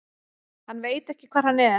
Hann veit ekki hvar hann er.